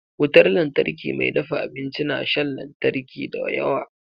Wutar lantarki mai dafa abinci na shan lantari da yawa.